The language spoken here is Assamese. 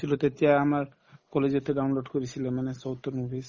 গৈছিলো তেতিয়া আমাৰ college তে download কৰিছিলে মানে south ৰ movies